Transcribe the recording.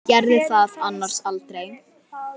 Gerði það annars aldrei.